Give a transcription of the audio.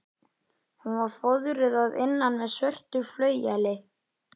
Hún var fóðruð að innan með svörtu flaueli.